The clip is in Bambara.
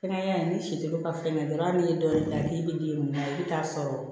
Fɛngɛ in ni si dɔw ka falen dɔrɔn a bɛ ni dɔ de da k'i bɛ den mun na i bɛ taa sɔrɔ